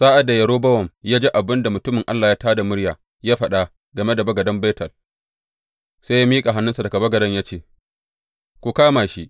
Sa’ad da Yerobowam ya ji abin da mutumin Allah ya tā da murya ya faɗa game da bagaden Betel, sai ya miƙa hannunsa daga bagaden ya ce, Ku kama shi!